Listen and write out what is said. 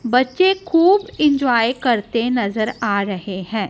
बच्चे खूब इंजॉय करते नजर आ रहे हैं।